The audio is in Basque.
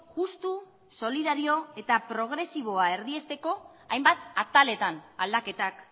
justu solidario eta progresiboa erdiesteko hainbat ataletan aldaketak